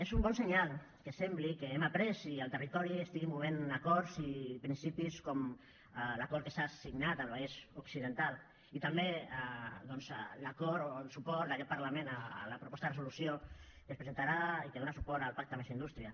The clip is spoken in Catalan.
és un bon senyal que sembli que n’hem après i que el territori estigui movent acords i principis com l’acord que s’ha signat al vallès occidental i també doncs l’acord o el suport d’aquest parlament a la proposta de resolució que es presentarà i que dóna suport al pacte més indústria